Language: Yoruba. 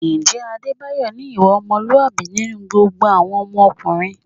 Ǹjẹ́ Adébáyọ̀ ní ìwà ọmọlúwàbí nínú gbogbo àwọn ọkùnrin?